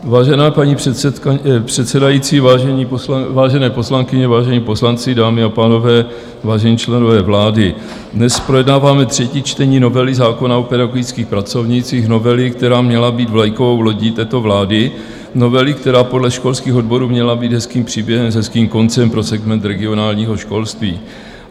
Vážená paní předsedající, vážené poslankyně, vážení poslanci, dámy a pánové, vážení členové vlády, dnes projednáváme třetí čtení novely zákona o pedagogických pracovnících, novely, která měla být vlajkovou lodí této vlády, novely, která podle školských odborů měla být hezkým příběhem s hezkým koncem pro segment regionálního školství.